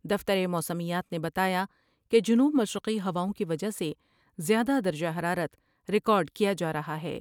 دفتر موسمیات نے بتایا کہ جنوب مشرقی ہواؤں کی وجہ سے زیادہ درجہ حرارت ریکارڈ کیا جارہا ہے ۔